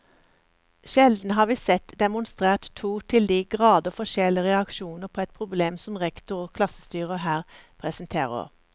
Sjelden har vi sett demonstrert to til de grader forskjellige reaksjoner på et problem som rektor og klassestyrer her presenterer.